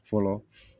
Fɔlɔ